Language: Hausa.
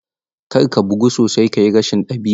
Kar ka bugu sosai ka yi rashin ɗabi'a.